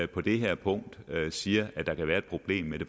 på det her punkt siger der kan være et problem med det